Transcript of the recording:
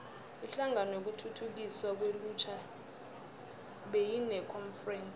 inhlangano yokuthuthukiswa kwelutjha beyinekonferense